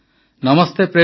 Namaste Prem ji